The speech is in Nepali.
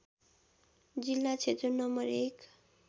जिल्ला क्षेत्र नं १